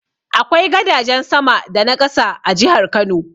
Akwai gadajen sama da na ƙasa a jihar Kano.